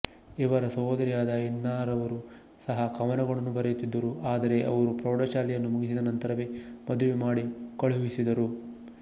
ಅವರ ಸಹೋದರಿಯಾದ ಇನ್ನಾರವರೂ ಸಹಾ ಕವನಗಳನ್ನು ಬರೆಯುತ್ತಿದ್ದರು ಆದರೆ ಅವರು ಪ್ರೌಡಶಾಲೆಯನ್ನು ಮುಗಿಸಿದ ನಂತರವೇ ಮದುವೆ ಮಾಡಿ ಕಳುಹಿಸಿದರು